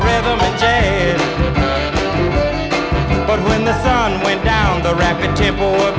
майдан